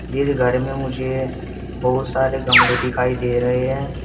इस घर में मुझे बहुत सारे गमले दिखाई दे रहे हैं।